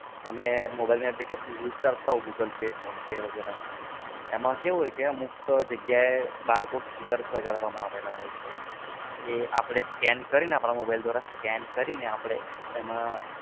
તમે mobile application use કરતાં હો google pay, phone pay વગેરા. એમાં કેવું હોય કે અમુક જગ્યાએ barcode stickers લગાડવામાં આવ્યા હોય છે. એ આપડે scan કરીને આપણાં mobile દ્વારા એમાં આપડે